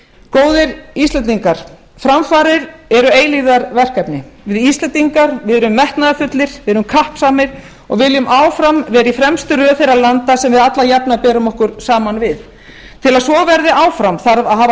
góðir íslendingar framfarir eru eilífðarverkefni við íslendingar erum metnaðarfullir við erum kappsamir og við viljum áfram vera í fremstu röð þeirra landa sem við alla jafnan berum okkur saman við til að svo verði áfram þarf að hafa